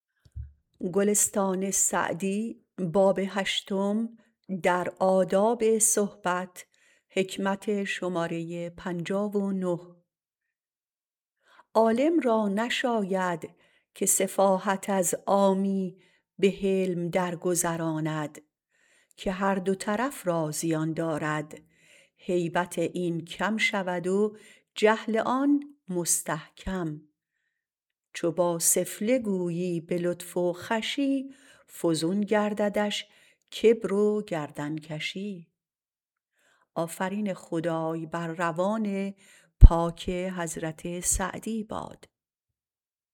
عالم را نشاید که سفاهت از عامی به حلم درگذراند که هر دو طرف را زیان دارد هیبت این کم شود و جهل آن مستحکم چو با سفله گویی به لطف و خوشی فزون گرددش کبر و گردنکشی